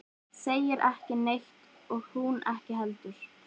Segir ekki neitt og hún ekki heldur.